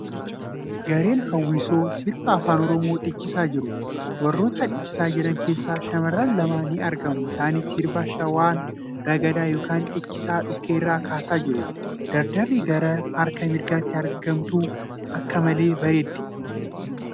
Gareen hawwisoo sirba Afaan Oromoo dhiichisaa jiru. Warroota dhiichisaa jiran keessa shamarran lama ni argamu. Isaanis sirba shawaan ragadaa yookin dhiichisa dhukkee irraa kaasaa jiru. Dardarri gara harka mirgaatti argamtu akka malee bareeddi.